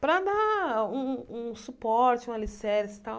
Para dar um um um suporte, um alicerce e tal.